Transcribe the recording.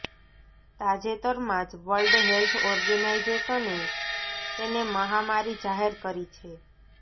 તાજેતરમાં જ world health ઓર્ગેનાઇઝેશને તેને મહામારી જાહેર કરી છે